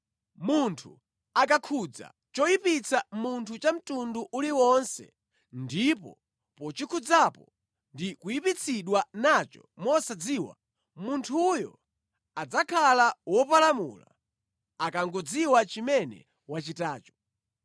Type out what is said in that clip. “ ‘Munthu akakhudza choyipitsa munthu cha mtundu uliwonse, ndipo pochikhudzapo ndi kuyipitsidwa nacho mosadziwa, munthuyo adzakhala wopalamula akangodziwa chimene wachitacho.